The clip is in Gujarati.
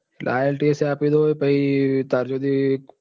તો શું તને હવે ielts એ આપી દઈસ ને ત્યાર સુધી